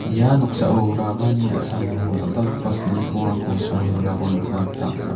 ia noksao ramani a·samo dal·dalgipa silni krongrangko songe donako nikna gita man·a.